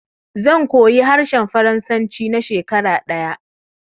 Zan koyi harshen faransanci na shekara ɗaya